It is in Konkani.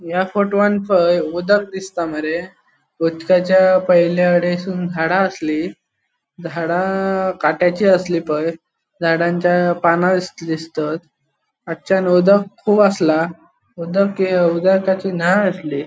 या फोटोवान उदक दिसता मरे उदकचा पयल्या हडेसुन झाड़ा आसली झाड़ा काट्याची आसली पए झाडांच्या पाना अ दिसतात उदक कुब आसला उदक ये उदकाची नाळ आसली.